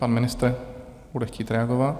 Pan ministr bude chtít reagovat.